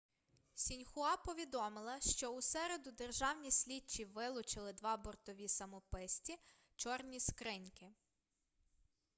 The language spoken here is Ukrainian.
сіньхуа повідомила що у середу державні слідчі вилучили два бортові самописці чорні скриньки